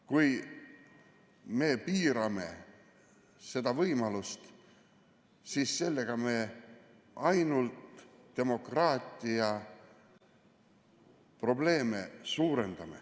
Kui me piirame seda võimalust, siis sellega me ainult suurendame demokraatia probleeme.